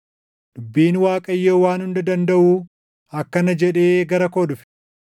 Dubbiin Waaqayyo Waan Hunda Dandaʼuu akkana jedhee gara koo dhufe;